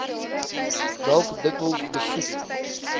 dalk dikwels besoek